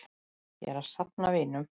Ég er að safna vinum.